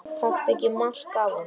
Taktu ekki mark á honum.